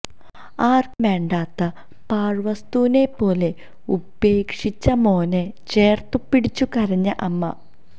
ആർക്കും വേണ്ടാത്ത പാഴ്വസ്തുവിനെ പോലെ ഉപേക്ഷിച്ച മോനെ ചേർത്ത് പിടിച്ചു കരഞ്ഞ അമ്മ